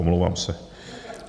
Omlouvám se.